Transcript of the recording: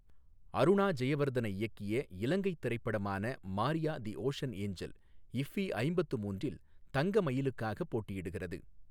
அருணா ஜெயவர்தன இயக்கிய இலங்கைத் திரைப்படமான Maria the Ocean Angel IFFI ஐம்பத்து மூன்றில் தங்க மயிலுக்காக போட்டியிடுகிறது